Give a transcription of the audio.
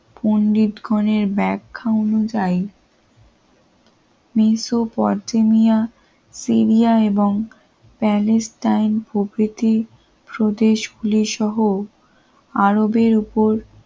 পন্ডিত কোণের ব্যাক খাও অনুযায়ী মেসোপটেমিয়া সিরিয়া এবং প্যালেস্টাইন প্রভৃতি স্বদেশ খুলে সহ আরবের উপর